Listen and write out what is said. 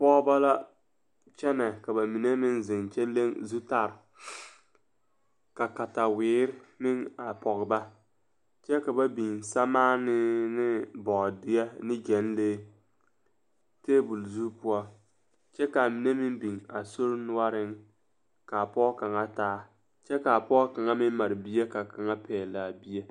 Pɔgeba la kyɛnɛ ka ba mine meŋ zeŋ kyɛ leŋ zutare ka kataweere meŋ a pɔge ba kyɛ ka ba biŋ sɛmaanee ne bɔɔdeɛ ne gyɛnlee tabol zu poɔ kyɛ k,a mine meŋ biŋ a sori noɔreŋ k,a pɔge kaŋ taa kyɛ k,a pɔge kaŋa meŋ mare bie ka kaŋa pɛgle a bie.